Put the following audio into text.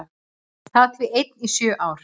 Hann sat því einn í sjö ár.